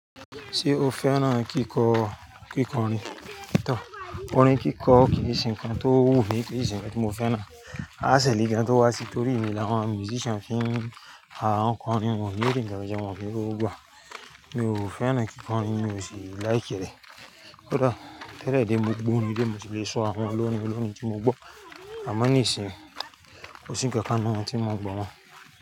Ṣé o fẹ́ràn kíkọ- kíkọ́rin? Tóo, òrin kíkọ kì í ṣe nǹkan tó wu mi, kì í ṣe nǹkan tí mo fẹ́ràn. Áṣẹ lí gan tó wà sí torí mìí ni àwọn musician fi ń, àwọn kọ́rin, wọn ó ńí rí ǹkan jẹ́, wọ́n ó ní rí owó gbà. Mi ò fẹ́ràn kíkọ orin, mi ò sì láìkẹ́ rẹ̀. Òòda, tẹ́lẹ̀ dẹ̀ mo gbó orin rí ni mo tì lè ṣọ àwọn olórin olórin tí mo gbọ́. Àmọ́ nísinsìnyí, kò sí ǹkan kan nú wọn tí mo n gbọ́ mọ́.